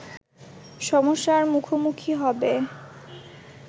সমস্যার মুখোমুখি হবে